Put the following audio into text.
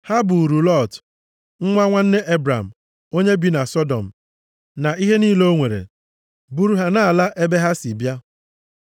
Ha buuru Lọt, nwa nwanne Ebram, onye bi na Sọdọm na ihe niile o nwere, buru ha na-ala ebe ha si bịa.